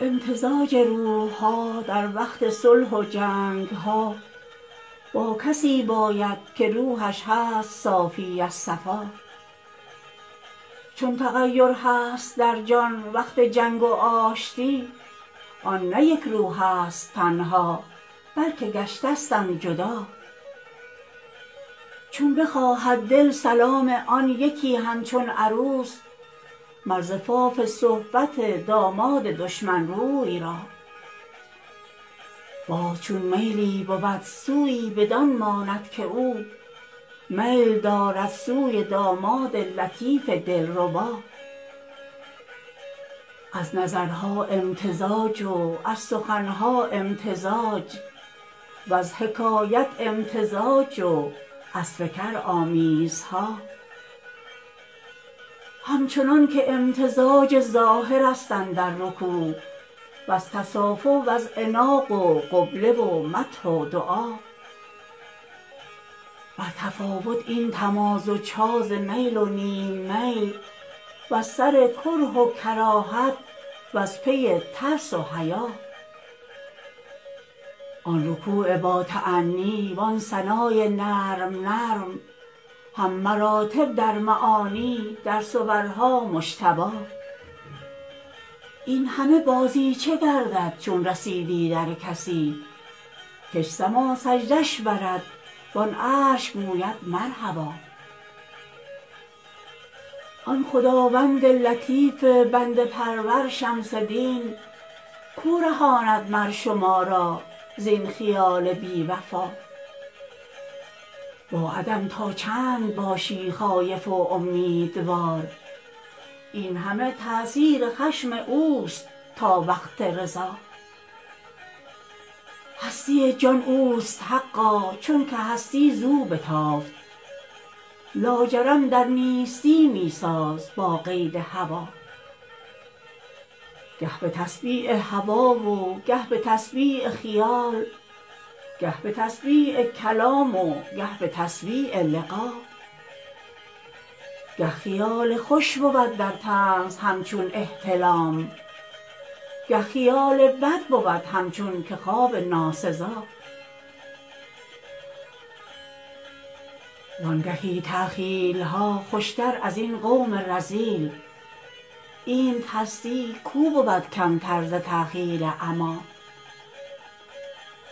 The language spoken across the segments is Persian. امتزاج روح ها در وقت صلح و جنگ ها با کسی باید که روحش هست صافی صفا چون تغیر هست در جان وقت جنگ و آشتی آن نه یک روحست تنها بلک گشتستند جدا چون بخواهد دل سلام آن یکی همچون عروس مر زفاف صحبت داماد دشمن روی را باز چون میلی بود سویی بدان ماند که او میل دارد سوی داماد لطیف دلربا از نظرها امتزاج و از سخن ها امتزاج وز حکایت امتزاج و از فکر آمیزها همچنانک امتزاج ظاهرست اندر رکوع وز تصافح وز عناق و قبله و مدح و دعا بر تفاوت این تمازج ها ز میل و نیم میل وز سر کره و کراهت وز پی ترس و حیا آن رکوع باتأنی وان ثنای نرم نرم هم مراتب در معانی در صورها مجتبا این همه بازیچه گردد چون رسیدی در کسی کش سما سجده اش برد وان عرش گوید مرحبا آن خداوند لطیف بنده پرور شمس دین کو رهاند مر شما را زین خیال بی وفا با عدم تا چند باشی خایف و امیدوار این همه تأثیر خشم اوست تا وقت رضا هستی جان اوست حقا چونک هستی زو بتافت لاجرم در نیستی می ساز با قید هوا گه به تسبیع هوا و گه به تسبیع خیال گه به تسبیع کلام و گه به تسبیع لقا گه خیال خوش بود در طنز همچون احتلام گه خیال بد بود همچون که خواب ناسزا وانگهی تخییل ها خوشتر از این قوم رذیل اینت هستی کو بود کمتر ز تخییل عما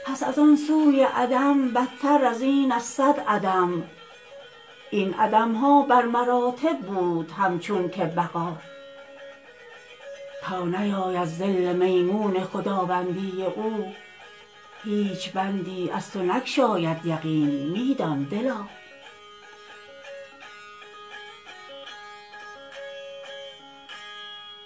پس از آن سوی عدم بدتر از این از صد عدم این عدم ها بر مراتب بود همچون که بقا تا نیاید ظل میمون خداوندی او هیچ بندی از تو نگشاید یقین می دان دلا